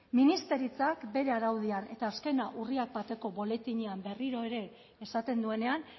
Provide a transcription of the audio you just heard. ministeritzak bere araudian eta azkena urriak bateko boletinean berriro ere esaten duenean